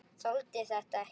Þoldi þetta ekki!